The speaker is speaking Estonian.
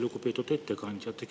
Lugupeetud ettekandja!